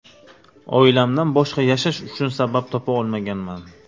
Oilamdan boshqa yashash uchun sabab topa olmaganman.